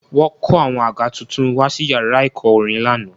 Wọ́n kó àwọn àga tuntun wá sí yàrá ẹ̀kọ́ orin lánàá